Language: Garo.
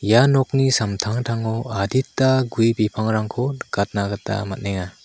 ia nokni samtangtango adita gue bipangrangko nikatna gita man·enga.